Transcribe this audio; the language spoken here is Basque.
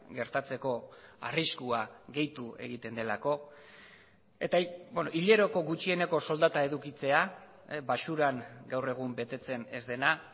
gertatzeko arriskua gehitu egiten delako eta hileroko gutxieneko soldata edukitzea baxuran gaur egun betetzen ez dena